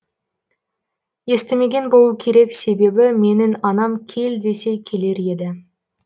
естімеген болу керек себебі менің анам кел десе келер еді